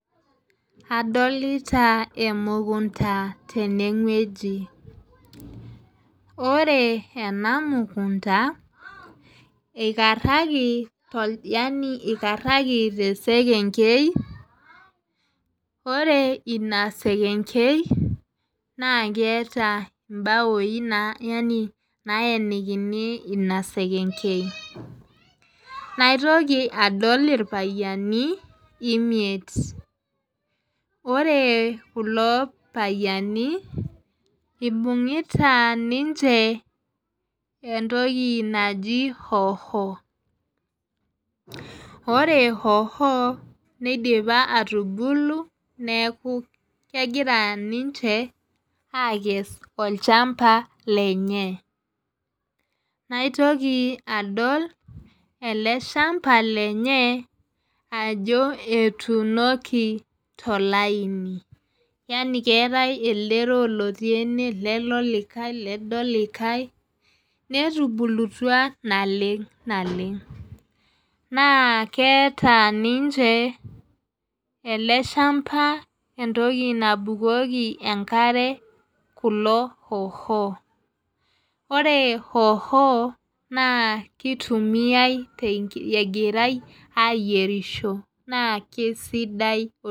Adolita emukunta tene wueji ore ena mukunta eikaraki yaani eikaraki te sekengei ore ina sekengei naa kiata ibaoi yaani nayenikini ina sekengei naitoki adol irpayiani imiet ore kulo payiani ibungita ninche etoki naaji hoho ore hoho nidipa atubulu neaku kegira ninche aaikes olchamba lenye naitoki adol ele shamba lenye ajo etuunoki tolaini yaani keetae Lele olikae lede olikae netubulutua naleng naleng naa keeta ninche ele shamba etoki nabukoki enkare kulo hoho ore hoho naa kitumiae egirae ayierisho naa kesidai oleng .